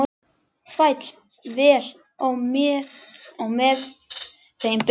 Féll vel á með þeim Birni.